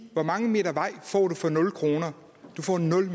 hvor mange meter vej får du for nul kr du får nul